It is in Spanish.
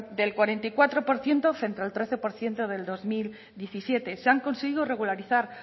del cuarenta y cuatro por ciento frente al trece por ciento del dos mil diecisiete se han conseguido regularizar